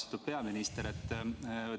Austatud peaminister!